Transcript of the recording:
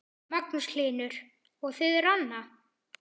Magnús Hlynur: Og þið, Ranna?